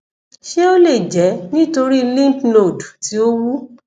ṣé ó lè jẹ nítorí lymph node ti o wu